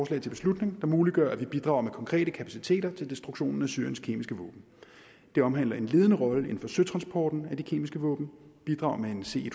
til beslutning der muliggør at vi bidrager med konkrete kapaciteter til destruktionen af syriens kemiske våben det omhandler en ledende rolle inden for søtransporten af de kemiske våben bidrager med en c en